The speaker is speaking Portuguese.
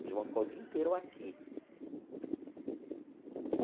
Vocês vão ficar o dia inteiro aqui.